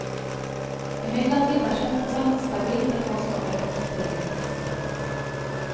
Imidlertid er kjøttprosenten stabil til tross for økt tilvekst.